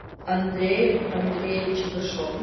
андреем андреевичем рыжовым